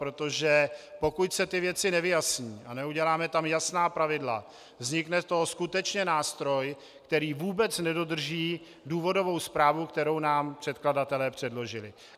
Protože pokud se ty věci nevyjasní a neuděláme tam jasná pravidla, vznikne z toho skutečně nástroj, který vůbec nedodrží důvodovou zprávu, kterou nám předkladatelé předložili.